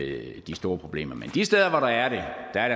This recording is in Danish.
ikke de store problemer men de steder hvor der